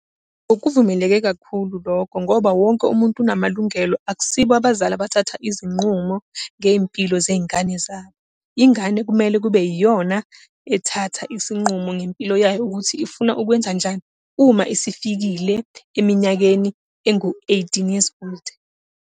Okuvumeleke kakhulu lokho, ngoba wonke umuntu unamalungelo, akusibo abazali abathatha izinqumo ngey'mpilo zey'ngane zabo. Ingane kumele kube yiyona ethatha isinqumo ngempilo yayo ukuthi ifuna ukwenzanjani, uma isifikile eminyakeni engu-eighteen years old.